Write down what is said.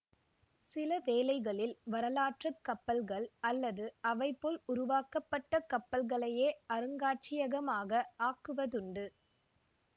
சில வேளைகளில் வரலாற்று கப்பல்கள் அல்லது அவை போல் உருவாக்கப்பட்ட கப்பல்களையே அருங்காட்சியகமாக ஆக்குவதுண்டு